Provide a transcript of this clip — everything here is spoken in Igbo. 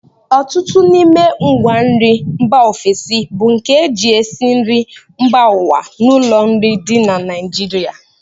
Ọtụtụ n'ime ngwanri mba ofesi bụ nke e ji esi nri mba ụwa n'ụlọ nri dị na Naijiria